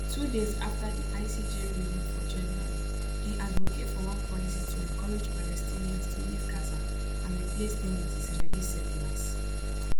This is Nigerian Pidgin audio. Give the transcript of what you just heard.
two days afta di icj ruling for january im advocate for one policy to encourage palestinians to leave gaza and replace dem wit israeli settlers